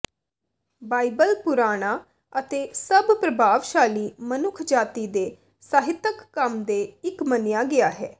Bible ਪੁਰਾਣਾ ਅਤੇ ਸਭ ਪ੍ਰਭਾਵਸ਼ਾਲੀ ਮਨੁੱਖਜਾਤੀ ਦੇ ਸਾਹਿਤਕ ਕੰਮ ਦੇ ਇੱਕ ਮੰਨਿਆ ਗਿਆ ਹੈ